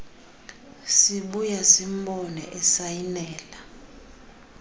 sibuya simbone esayinela